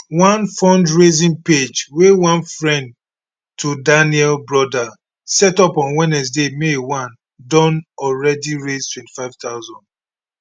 one fundraising page wey one friend to daniel brother set up on wednesday may 1 don already raise 25000